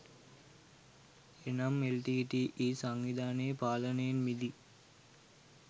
එනම් L T T E සංවිධානයේ පාලනයෙන් මිදී